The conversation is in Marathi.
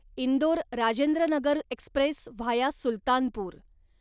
Indore Rajendranagar express via Sultanpur